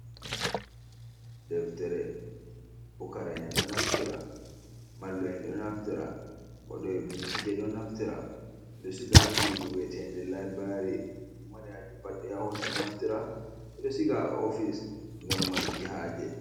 Deftere, fukara'en ɗo naftira mallu'en ɗo naftira, waɗooɓe bincike ɗon naftira ɗo siga suudu wi'eteende laibiraari. Mo mari haaje fu pat yaha hoosa naftira. Ɓe ɗo siga haa ofis ngam maruki haaje.